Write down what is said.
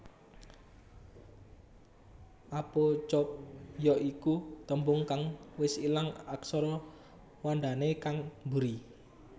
Apocope ya iku tembung kang wis ilang aksara wandané kang buri